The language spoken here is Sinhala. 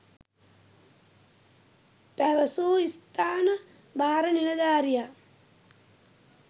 පැවසූ ස්ථාන භාර නිලධාරියා